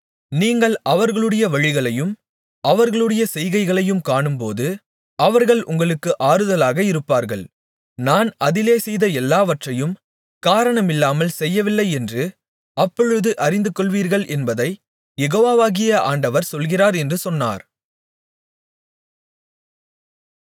நீங்கள் அவர்களுடைய வழிகளையும் அவர்களுடைய செய்கைகளையும் காணும்போது அவர்கள் உங்களுக்குத் ஆறுதலாக இருப்பார்கள் நான் அதிலே செய்த எல்லாவற்றையும் காரணமில்லாமல் செய்யவில்லையென்று அப்பொழுது அறிந்துகொள்வீர்கள் என்பதைக் யெகோவாகிய ஆண்டவர் சொல்கிறார் என்று சொன்னார்